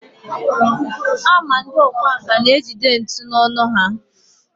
a ma ndị ọkwá nkà na-ejide ntu n’ọnụ ha